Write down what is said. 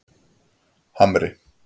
Hamri